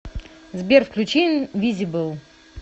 сбер включи инвизибл